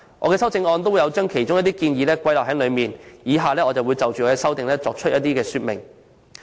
我的修正案亦有把其中一些建議包括在內，我現就修正案作出說明如下。